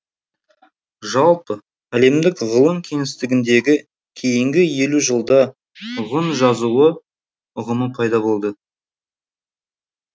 жалпы әлемдік ғылым кеңістігіндегі кейінгі елу жылда ғұн жазуы ұғымы пайда болды